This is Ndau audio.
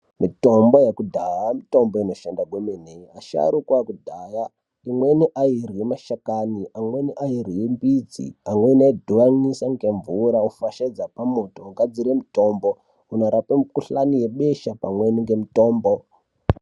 Mitombo yekudhaya mitombo inoshanda gwemene. Asharuka ekudhaya, imweni aiirye mashakani, amweni airye mbidzi. Amweni aidhibanisa ngemvura ofashaidze pamoto, ogadzire mutombo unorape mikhuhlane yebesha pamweni ngemitombo.